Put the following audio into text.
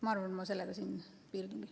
Ma arvan, et ma sellega siinkohal piirdun.